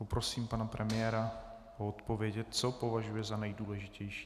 Poprosím pana premiéra o odpověď, co považuje za nejdůležitější.